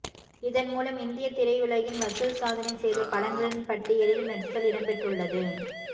இதன் மூலம் இந்திய திரையுலகில் வசூல் சாதனை செய்த படங்களின் பட்டியலில் மெர்சல் இடம்பெற்றுள்ளது